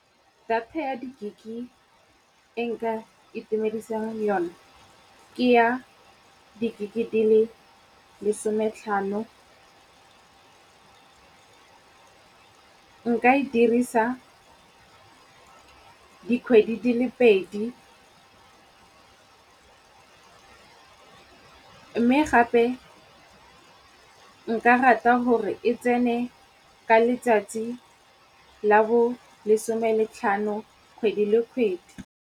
Data ya di-gig-e e nka itumedisang yona ke ya di-gig-e di le lesometlhano. Nka e dirisa dikgwedi di le pedi. Mme gape nka rata gore e tsene ka letsatsi la bolesome le tlhano kgwedi le kgwedi.